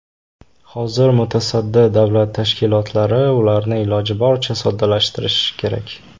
Hozir mutasaddi davlat tashkilotlari ularni iloji boricha soddalashtirishi kerak.